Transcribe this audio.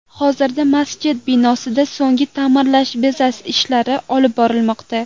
Hozirda masjid binosida so‘nggi ta’mirlash, bezash ishlari olib borilmoqda.